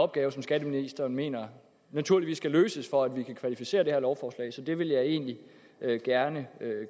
opgave som skatteministeren mener naturligvis skal løses for at vi kan kvalificere det her lovforslag så det vil jeg egentlig gerne